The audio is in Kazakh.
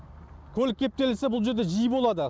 көлік кептелісі бұл жерде жиі болады